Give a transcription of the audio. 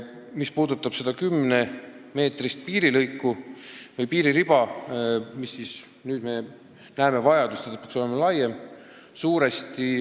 Mis puudutab seda kümne meetri laiust piiririba, siis nüüd me tõesti näeme vajadust, et see peab olema laiem.